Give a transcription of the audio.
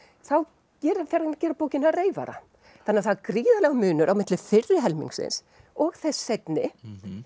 þá fer hann að gera bókina að reyfara þannig að það er gríðarlegur munur á milli fyrri helmingsins og þess seinni